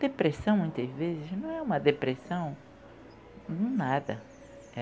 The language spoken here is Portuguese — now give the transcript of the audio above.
Depressão, muitas vezes, não é uma depressão em nada.